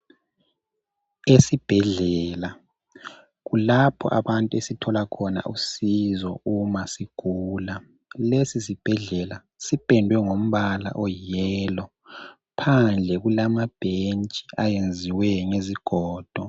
Isibhedlela kulapho abantu esithola khona usizo uma sigula lesi sibhedlela sipendiwe ngombala oyiyelo, phandle kulama bhentshi ayenziwe ngezigodo .